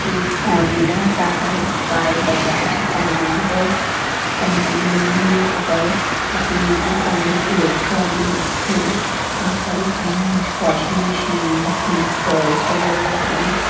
एक Onida Tata Sky Bajaj financer company बनी है ऊपर उसके नीचे संगीत इलेक्ट्रॉनिक्स है बहुत सारे फ्रिज वाशिंग मशीन्स मिक्सर वगेरा रखे--